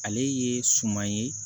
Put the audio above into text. Ale ye suman ye